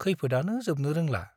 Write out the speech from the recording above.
खैफोदआनो जोबनो रोंला ।